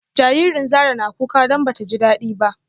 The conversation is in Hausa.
Jaririn Zara na kuka don bata ji dadi ba